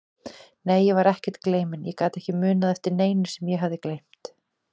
Nei, ég var ekkert gleyminn, ég gat ekki munað eftir neinu sem ég hafði gleymt.